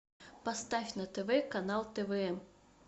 поставь на тв канал твм